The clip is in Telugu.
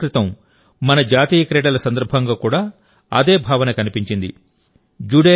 కొద్ది రోజుల క్రితం మన జాతీయ క్రీడల సందర్భంగా కూడా అదే భావన కనిపించింది